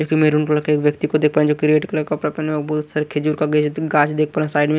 एक maroon colour के व्यक्ती को देख पा रहे है जो की रेड कलर कपड़ा पेहना बहोत सारे कांच देखा पा रहे है साइड में।